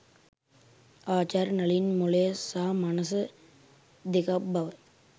ආචාර්ය නලින් මොළය සහ මනස දෙකක් බව